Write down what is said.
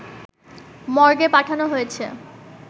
মর্গে পাঠানো হয়েছে